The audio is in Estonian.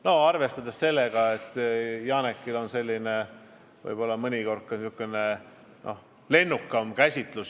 Noh, Janekil on võib-olla mõnikord ka säärased lennukamad mõtted.